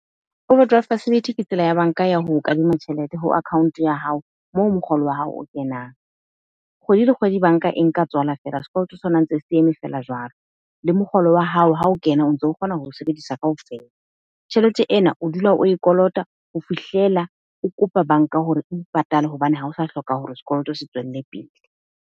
Overdraft facility ke tsela ya bank-a ya ho o kadima tjhelete. Ho account ya hao, moo mokgolo wa hao o kenang. Kgwedi le kgwedi, Bank-a e nka tswala fela sekoloto sa ntse se eme feela jwalo. Le mokgolo wa hao ha o kena, o ntso kgona ho sebedisa kaofela. Tjhelete ena, o dula oe kolota ho fihlela o kopa bank-a hore eo patale hobane ha o sa hloka hore sekoloto se tswelle pele.